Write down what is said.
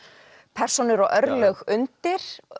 persónur og örlög undir